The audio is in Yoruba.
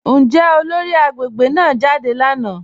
Njẹ́ olóri agbegbe náà jádẹ lánà?